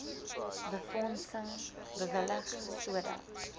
befondsing bewillig sodat